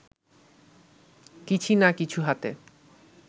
কিছি-না কিছু হাতে